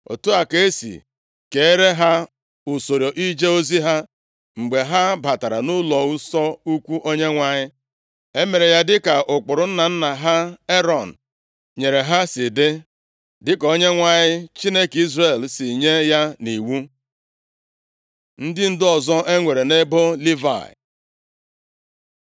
Otu a ka e si keere ha usoro ije ozi ha mgbe ha batara nʼụlọnsọ ukwu Onyenwe anyị. E mere ya dị ka ụkpụrụ nna nna ha Erọn nyere ha si dị, dịka Onyenwe anyị, Chineke Izrel si nye ya nʼiwu. Ndị ndu ọzọ e nwere nʼebo Livayị